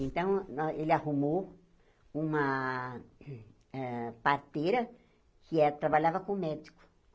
Então, nó ele arrumou uma eh parteira que eh trabalhava com médico.